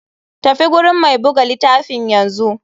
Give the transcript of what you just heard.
Tafi gurin mai buga litafin yanzu.